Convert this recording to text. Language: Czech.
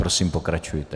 Prosím, pokračujte.